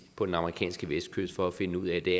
på den amerikanske vestkyst for at finde ud af at det